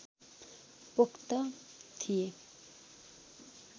पोख्त थिए